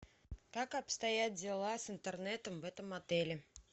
как обстоят дела с интернетом в этом отеле